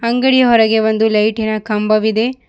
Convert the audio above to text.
ಅಂಗಡಿಯ ಹೊರಗೆ ಒಂದು ಲೈಟಿನ ಕಂಬವಿದೆ.